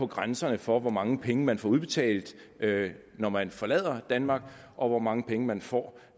grænserne for hvor mange penge man får udbetalt når man forlader danmark og hvor mange penge man får